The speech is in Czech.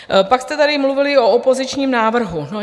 Pak jste tady mluvili o opozičním návrhu.